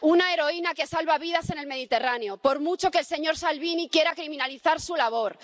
Una heroína que salva vidas en el Mediterráneo, por mucho que el señor Salvini quiera criminalizar su labor.